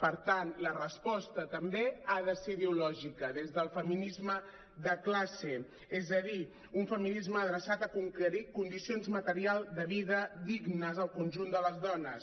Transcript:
per tant la resposta també ha de ser ideològica des del feminisme de classe és a dir un feminisme adreçat a conquerir condicions materials de vida dignes al conjunt de les dones